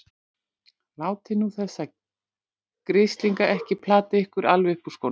Látið nú þessa grislinga ekki plata ykkur alveg upp úr skónum!